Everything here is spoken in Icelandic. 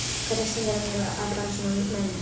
Hvernig stendur á mér að fara svona með mig?